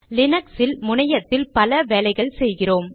லீனக்ஸில் முனையத்தில் பல வேலைகள் செய்கிறோம்